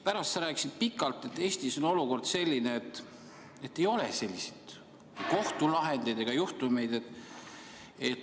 Pärast rääkisid sa pikalt sellest, kuidas Eestis on olukord selline, et ei ole selliseid kohtulahendeid ega juhtumeid.